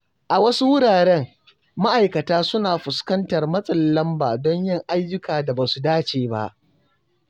A wasu wuraren, ma’aikata suna fuskantar matsin lamba don yin ayyukan da ba su dace ba.